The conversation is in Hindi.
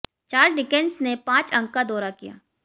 चार्ल्स डिकेंस ने पांच अंक का दौरा किया